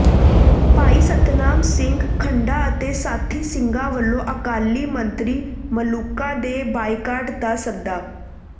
ਭਾਈ ਸਤਨਾਮ ਸਿੰਘ ਖੰਡਾ ਅਤੇ ਸਾਥੀ ਸਿੰਘਾਂ ਵਲੋਂ ਅਕਾਲੀ ਮੰਤਰੀ ਮਲੂਕਾ ਦੇ ਬਾਈਕਾਟ ਦਾ ਸੱਦਾ